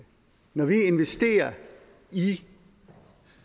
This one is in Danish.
når vi investerer i